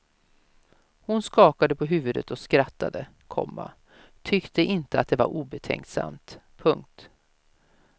Hon skakade på huvudet och skrattade, komma tyckte inte att det var obetänksamt. punkt